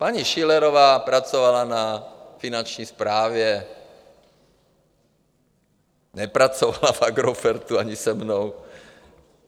Paní Schillerová pracovala na Finanční správě, nepracovala v Agrofertu ani se mnou.